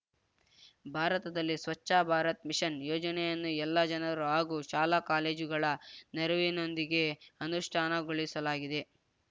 ಭಾರತದಲ್ಲಿ ಸ್ವಚ್ಛ ಭಾರತ್ ಮಿಷನ್‌ ಯೋಜನೆಯನ್ನು ಎಲ್ಲ ಜನರು ಹಾಗೂ ಶಾಲಾ ಕಾಲೇಜುಗಳ ನೆರವಿನೊಂದಿಗೆ ಅನುಷ್ಠಾನಗೊಳಿಸಲಾಗಿದೆ